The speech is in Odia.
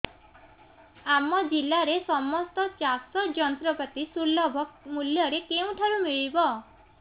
ଆମ ଜିଲ୍ଲାରେ ସମସ୍ତ ଚାଷ ଯନ୍ତ୍ରପାତି ସୁଲଭ ମୁଲ୍ଯରେ କେଉଁଠାରୁ ମିଳିବ